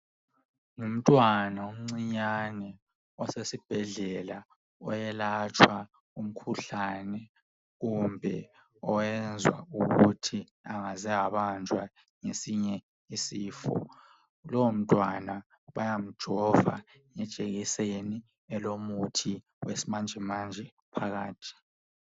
Ngumtwana omncinyane osesibhedlela oyelatshwa umkhuhlane kumbe oyenzwa ukuthi angaze wabanjwa ngezinye isifo , lowo mntwana bayamjova ngejekiseni lomuthi wesimanjemanje phakathi